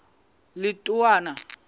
letowana